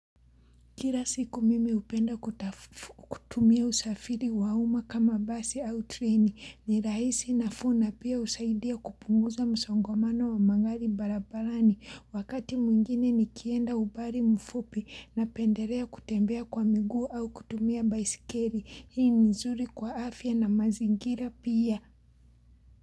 Kira siku mimi upenda kutumia usafiri wa uma kama basi au treni ni raisi nafuu na pia usaidia kupunguza msangomano wa mangali barabarani wakati mwingine nikienda ubari mfupi na penderea kutembea kwa migu au kutumia baisikeri hii nizuri kwa afya na mazigira pia.